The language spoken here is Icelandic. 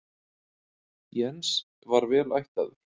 Jens var vel ættaður.